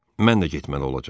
Mən də getməli olacam.